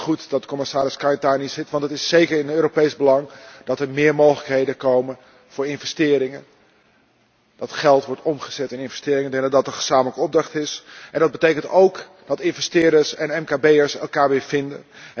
Daarom is het goed dat commissaris Katainen hier zit, want het is zeker in het Europees belang dat er meer mogelijkheden komen voor investeringen, dat geld wordt omgezet in investeringen. We willen dat er een gezamenlijke opdracht is en dat betekent ook dat investeerders en mkb'ers elkaar weer vinden.